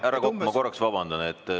Härra Kokk, ma korraks vabandan.